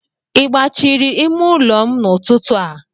I gbachiri ime ụlọ m n'ụtụtụ a?